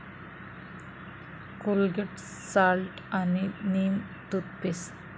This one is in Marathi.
कोलगेट साल्ट आणि नीम टूथपेस्ट